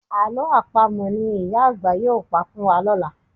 Àlọ́ Àpamọ̀ ni ìyá àgbà yóò pa fún wa lọ́la